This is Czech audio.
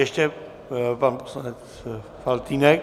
Ještě pan poslanec Faltýnek.